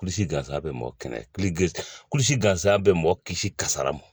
Kulisi gansan bɛ mɔgɔ kɛnɛ kulusi gansan bɛ mɔgɔ kisi kasara m